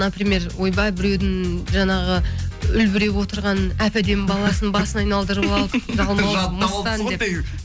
например ойбай біреудің жаңағы үлбіреп отырған әп әдемі баласының басын айналдырып алып жалмауыз мыстан деп